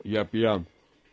я пьян